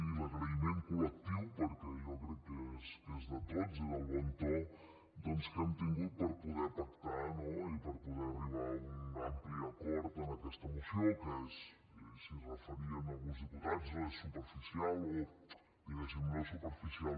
i l’agraïment col·lectiu perquè jo crec que és de tots i el bon to que hem tingut per poder pactar i per poder arribar a un ampli acord en aquesta moció que i s’hi referien alguns diputats no és superficial o diguem ne no és superficial